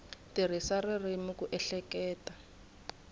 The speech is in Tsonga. tirhisa ririmi ku ehleketa no